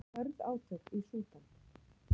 Hörð átök í Súdan